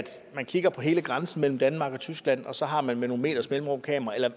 man kigger på hele grænsen mellem danmark og tyskland og så har kameraer med nogle meters mellemrum